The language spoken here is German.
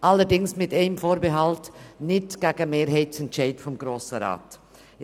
Allerdings mit einem Vorbehalt: Er darf sich nicht gegen Mehrheitsentscheide des Grossen Rats äussern.